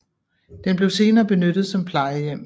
Den blev senere benyttet som plejehjem